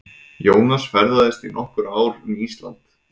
Jónas ferðaðist í nokkur ár um Ísland.